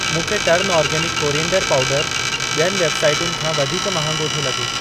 मूंखे turn organic coriander पाउडरु ॿियुनि वेबसाइटुनि खां वधीक महांगो थो लॻे।